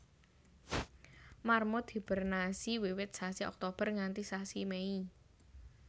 Marmut hibernasi wiwit sasi Oktober nganti sasi Mei